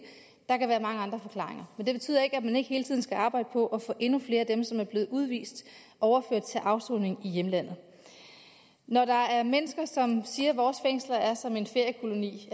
der kan være mange andre forklaringer men det betyder ikke at man ikke hele tiden skal arbejde på at få endnu flere af dem som er blevet udvist overført til afsoning i hjemlandet når der er mennesker som siger at vores fængsler er som en feriekoloni